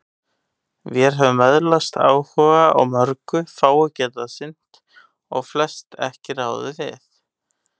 Vér höfum öðlast áhuga á mörgu, fáu getað sinnt og flest ekki ráðið við.